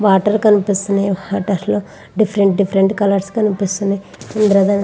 Water కనిపిస్తున్నాయి. Water లో different different colours కనిపిస్తున్నాయి. ఇంద్రధనస్సు--